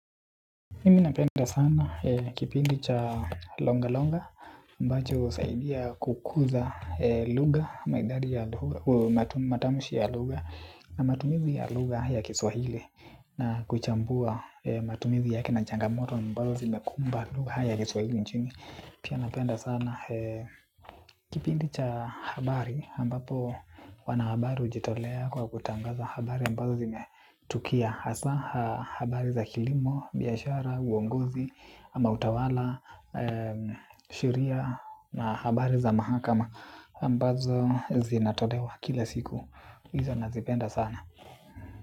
Mimi napenda sana kipindi cha longa longa ambacho husaidia kukuza lugha na matamshi ya lugha. Na matumizi ya lugha ya kiswahili na kuchambua matumizi yake na changamoto ambazo zinakumba lugha ya kiswahili nchini. Pia napenda sana. Kipindi cha habari ambapo wanahabari ujitolea kwa kutangaza habari ambazo zimetukia. Hasa habari za kilimo, biashara, uongozi, ama utawala, sheria na habari za mahakama ambazo zinatolewa kila siku. Izo nazipenda sana.